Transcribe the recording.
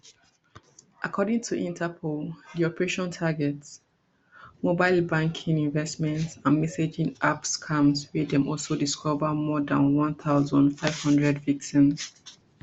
according to interpol di operation target mobile banking investment and messaging app scams wia dem also discover more dan one thousand, five hundred victims